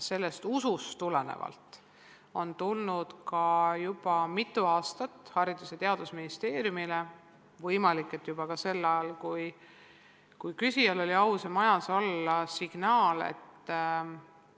Ja sellest usust tulenevalt on juba mitu aastat antud Haridus- ja Teadusministeeriumile – võimalik, et seda oli juba ka sel ajal, kui küsijal oli au selles majas olla – signaale, et